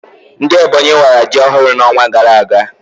Ndị Ebonyi wara ji ọhụrụ na onwa gara aga